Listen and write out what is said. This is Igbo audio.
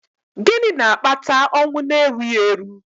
gịnị na-akpata ọnwụ n'erughị eru?